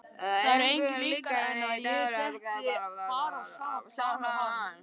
Það er engu líkara en að ég detti bara á sama plan og hann.